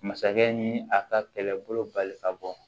Masakɛ ni a ka kɛlɛbolo bali ka bɔ